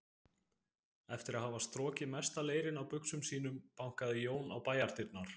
Eftir að hafa strokið mesta leirinn af buxum sínum bankaði Jón á bæjardyrnar.